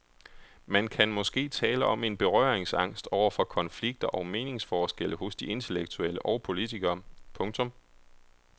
Man kan måske tale om en berøringsangst over for konflikter og meningsforskelle hos de intellektuelle og politikere. punktum